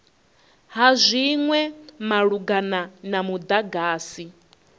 ha zwinwe malugana na mudagasi